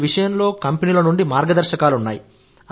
ఈ విషయంలో కంపెనీల నుండి మార్గదర్శకాలు ఉన్నాయి